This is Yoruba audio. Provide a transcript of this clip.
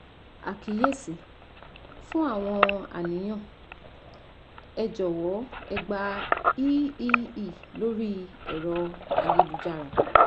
Àkíyèsí: Fú àwọn àníyàn, ẹ jọ̀wọ́ ẹ gba eee lórí ẹ̀rọ ayélujára